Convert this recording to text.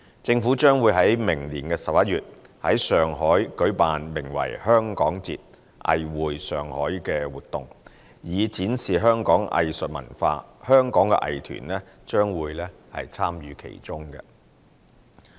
政府將會於明年11月在上海舉辦名為"香港節：藝匯上海"的活動，以展示香港藝術文化，香港的藝團將會參與其中。